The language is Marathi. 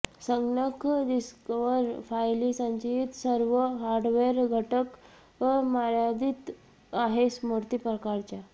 संगणक डिस्कवर फायली संचयित सर्व हार्डवेअर घटक मर्यादित आहे स्मृती प्रकारच्या